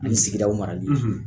Ani sigidaw marali.